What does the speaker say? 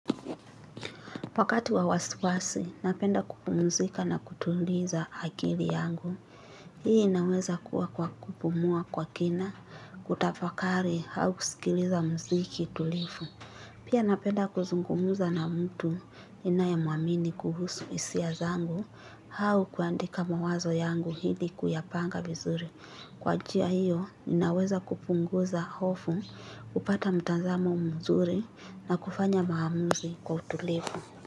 Wakati wa wasiwasi, napenda kupumzika na kutuliza akili yangu. Hii inaweza kuwa kwa kupumua kwa kina, kutafakari, au kusikiliza mziki tulivu. Pia napenda kuzungumza na mtu ninayemuamini kuhusu hisia zangu, au kuandika mawazo yangu ili kuyapanga vizuri. Kwa njia hiyo, ninaweza kupunguza hofu, hupata mtazamo mzuri na kufanya maamuzi kwa utulivu.